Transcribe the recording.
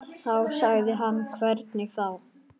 Þá sagði hann hvernig þá.